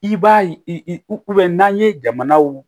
I b'a ye i n'an ye jamanaw